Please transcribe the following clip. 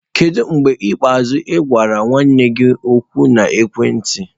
Kedu mgbe ikpeazụ ị gwara nwanne gị okwu na ekwentị?